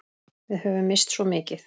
Við höfum misst svo mikið.